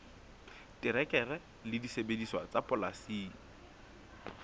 terekere le disebediswa tsa polasing